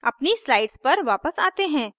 अपनी slides पर वापस आते हैं